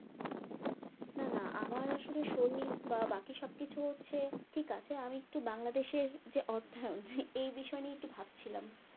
না না আমার আসলে শরীর বা বাকি সবকিছু হচ্ছে ঠিক আছে আমি একটু বাংলাদেশের যে অর্থায়ন এই বিষয় নিয়ে একটু ভাবছিলাম